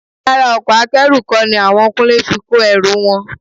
Rárá, ọkọ̀ Akẹ́rù kọ́ ni àwọn Kúnlé fi kó ẹrù wọn